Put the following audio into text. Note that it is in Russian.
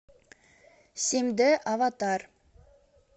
семьдэ аватар